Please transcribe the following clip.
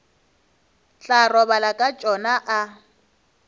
tla robala ka tšona a